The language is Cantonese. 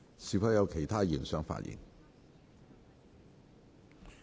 是否有其他議員想發言？